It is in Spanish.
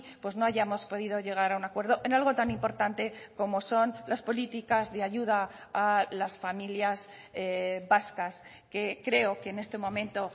pues no hayamos podido llegar a un acuerdo en algo tan importante como son las políticas de ayuda a las familias vascas que creo que en este momento